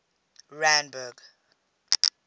randburg